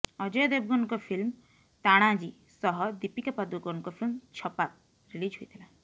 ଅଜୟ ଦେଭଗନଙ୍କ ଫିଲ୍ମ ତାଣାଜୀ ସହ ଦୀପିକା ପାଦୁକୋନଙ୍କ ଫିଲ୍ମ ଛପାକ ରିଲିଜ୍ ହୋଇଥିଲା